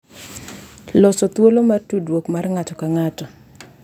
Loso thuolo mar tudruok mar ng’ato ka ng’ato